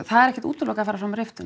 er ekki útilokað að fara fram á riftun